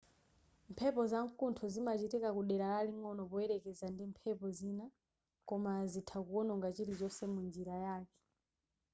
mphepo zamkuntho zimachitika kudera laling'ono poyerekeza ndi mphepo zina koma zitha kuononga chilichonse mu njira yake